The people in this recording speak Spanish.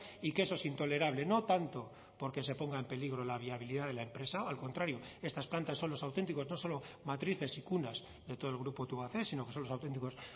y que eso es intolerable no tanto porque se ponga en peligro la viabilidad de la empresa al contrario estas plantas son los auténticos no solo matrices y cunas de todo el grupo tubacex sino que son los auténticos